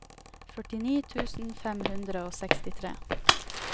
førtini tusen fem hundre og sekstitre